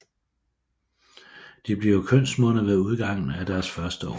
De bliver kønsmodne ved udgangen af deres første år